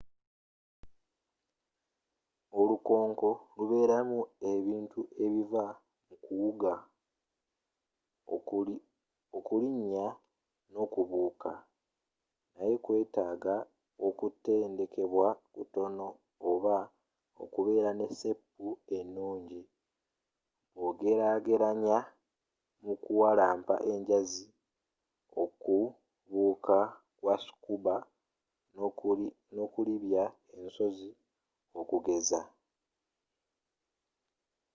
olukonko lubeeramu ebintu ebiva mu kuwuga okulinnya nokubuuka—naye kwetaaga okutendekebwa kutono oba okubeera ne seepu ennungi bwogerageranya mukuwalampa enjazi okubuuka kwa scuba nokulibbya ensozi okugeza